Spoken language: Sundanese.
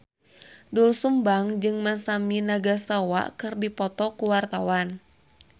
Doel Sumbang jeung Masami Nagasawa keur dipoto ku wartawan